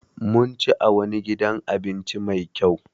Mun ci a wani gidan abinci Mai kyau.